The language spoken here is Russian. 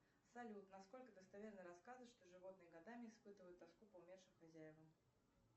салют насколько достоверны рассказы что животные годами испытывают тоску по умершим хозяевам